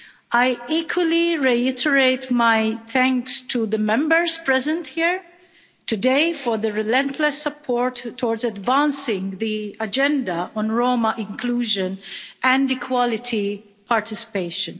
I equally reiterate my thanks to the Members present here today for the relentless support towards advancing the agenda on Roma inclusion and equality participation.